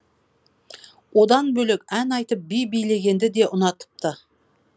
одан бөлек ән айтып би билегенді де ұнатыпты